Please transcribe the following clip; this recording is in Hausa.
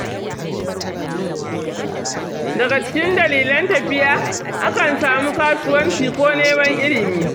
Daga cikin dalilan tafiya, akan samu kasuwanci ko neman ilimi.